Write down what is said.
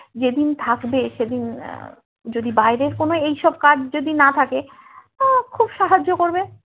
যেদিন থাকবে সেদিন আহ যদি বাইরের কোনো এই সব কাজ যদি না থাকে আ খুব সাহায্য করবে